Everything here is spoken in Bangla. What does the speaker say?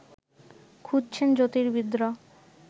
খুঁজছেন জ্যোতির্বিদরা